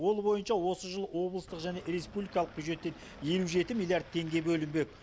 ол бойынша осы жылы облыстық және республикалық бюджеттен елу жеті миллиард теңге бөлінбек